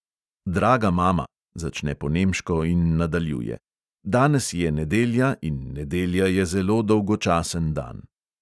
"Draga mama," začne po nemško in nadaljuje: "danes je nedelja in nedelja je zelo dolgočasen dan."